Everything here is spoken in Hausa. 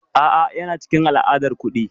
A'a, yana cikin al'adar kuɗi.